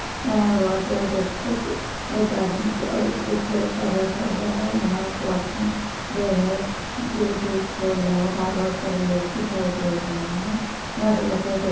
यहां बहुत बड़ा डेस्क द एक लड़का बैठा हुआ है यहां एक वॉचमैन जो है गे-गेट खोल रहा है बाहर बहुत सारे लोग दिखाई दे रहे हैं।